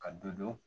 Ka dɔ dɔn